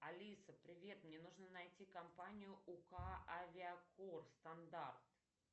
алиса привет мне нужно найти компанию ук авиакор стандарт